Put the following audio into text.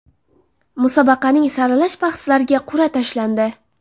Musobaqaning saralash bahslariga qur’a tashlandi.